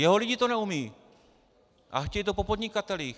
Jeho lidi to neumějí a chtějí to po podnikatelích.